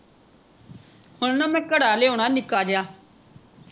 ਹੁਣ ਨਾ ਮੈਂ ਘੜਾ ਲਿਆਉਣਾ ਨਿੱਕਾ ਜਿਹਾ